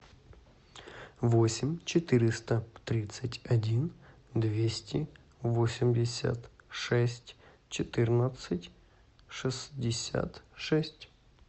восемь четыреста тридцать один двести восемьдесят шесть четырнадцать шестьдесят шесть